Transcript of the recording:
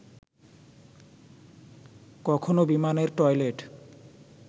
কখনো বিমানের টয়লেট